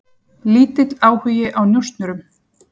Lítill áhugi á njósnurum